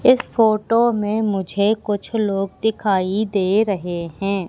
इस फोटो में मुझे कुछ लोग दिखाई दे रहे हैं।